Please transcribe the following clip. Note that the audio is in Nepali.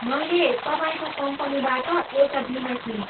मैले तपाईँको कम्पनीबाट एउटा बिमा किनेँ।